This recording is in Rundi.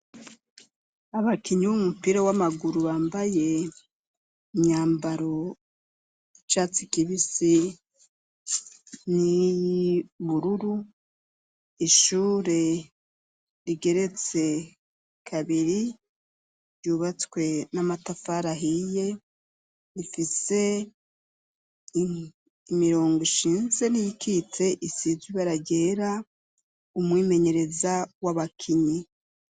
Abakinyi b'umupira w'amaguru, bambaye imyambaro y'icatsi kibisi n'iyibururu, ishure rigeretse kabiri ryubatswe n'amatafar ahiye, rifise imirongo ishinze n'iyikitse isizwe ibara ryera, umwimenyereza w'abakinyi.